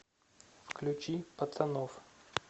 включи пацанов